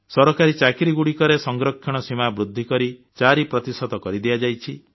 ସରକାରୀ ଚାକିରିଗୁଡ଼ିକରେ ସଂରକ୍ଷଣ ସୀମା ବଦ୍ଧୃ କରି 4 କରଦିଆଯାଇଛି